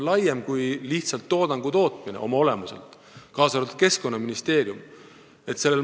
Mitme ministeeriumi koostöö on oma olemuselt laiem kui lihtsalt toodangu tootmine.